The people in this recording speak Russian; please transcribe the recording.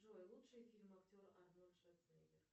джой лучшие фильмы актера арнольд шварценеггер